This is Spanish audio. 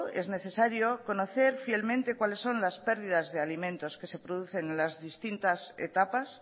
es necesario conocer fielmente cuáles son las pérdidas de alimentos que se producen en las distintas etapas